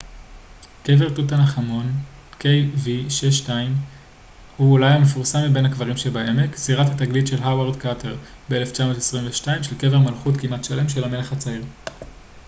קבר תות ענח' אמון kv62. kv62 הוא אולי המפורסם מבין הקברים בעמק זירת התגלית של הווארד קרטר ב-1922 של קבר מלכות כמעט שלם של המלך הצעיר